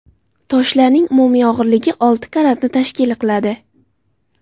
Toshlarning umumiy og‘irligi olti karatni tashkil qiladi.